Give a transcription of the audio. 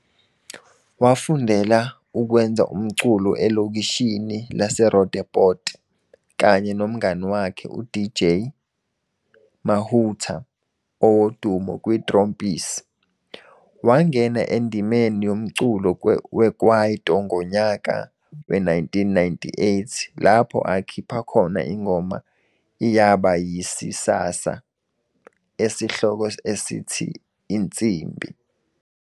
Wafundela ukwenza umculo ekolishi laseRoodeport kanye nomngani wakhe uDJ Mahoota owaduma kwiTrompies. Wangena endimeni yomculo wekwaito ngonyaka we-1998 lapho akhipha khona ingoma iyaba yisisasa, esihloko esithi "Insimbi".